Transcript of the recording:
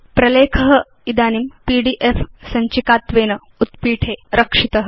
प्रलेख इदानीं पीडीएफ सञ्चिका त्वेन उत्पीठे रक्षित